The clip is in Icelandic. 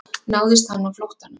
Náðist hann á flóttanum